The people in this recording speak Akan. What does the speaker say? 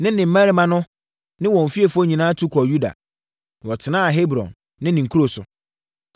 ne ne mmarima ne wɔn fiefoɔ nyinaa tu kɔɔ Yuda, na wɔkɔtenaa Hebron ne ne nkuro so.